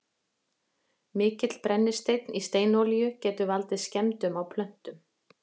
mikill brennisteinn í steinolíunni getur valdið skemmdum á plöntunum